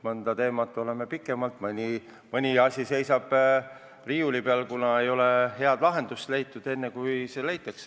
Mõnda teemat menetleme pikemalt, mõni asi seisab riiuli peal, kuna ei ole head lahendust leitud.